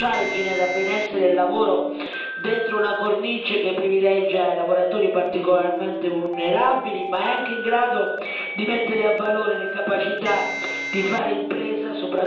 dentro una cornice che privilegia i lavoratori particolarmente vulnerabili, ma è anche in grado di mettere a valore la capacità di fare impresa, soprattutto delle donne e dei giovani.